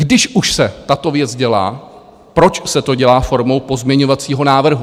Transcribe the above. Když už se tato věc dělá, proč se to dělá formou pozměňovacího návrhu?